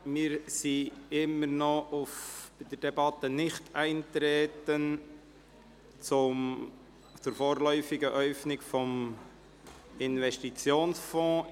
Wir sind immer noch bei der Debatte zum Nichteintreten betreffend die vorläufige Äufnung des Investitionsfonds.